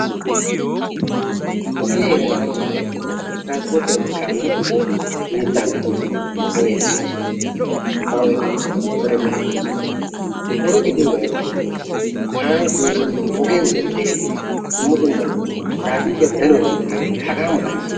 Ogiya heeran tana darotoo iitiyabay tirasporttiyanne kaamiya ogiyan mittaa wottoosona, motoriya essoosona, bawu eqqoosona, motoriya bolli uttosona oge gidiyoogaa erokkona. Kaamee biyosaa un'ettiyogan dumma dumma tirafikkiya danuwa gattiyageeti hagaa mala gidennee.